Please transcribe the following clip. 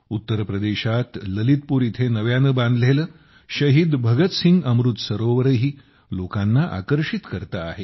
उत्तर प्रदेशात ललितपूर येथे नव्याने बांधलेले शहीद भगतसिंग अमृत सरोवरही लोकांना आकर्षित करते आहे